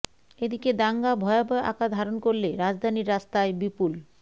এদিন দাঙ্গা ভয়াবহ আকার ধারণ করলে রাজধানীর রাস্তায় বিপুল